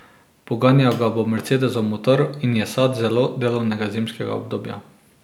Poganjal ga bo mercedesov motor in je sad zelo delovnega zimskega obdobja.